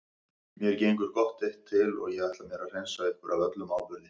Mér gengur gott eitt til og ég ætla mér að hreinsa ykkur af öllum áburði.